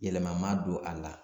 Yɛlɛma ma don a la